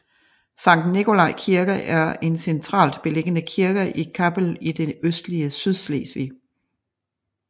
Sankt Nikolaj Kirke er en centralt beliggende kirke i Kappel i det østlige Sydslesvig